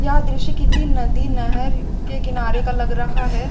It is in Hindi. यह दृश्य किसी नदी नहर के किनारे का लग रहा है।